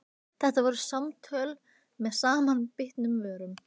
Þetta voru samtöl með samanbitnum vörum.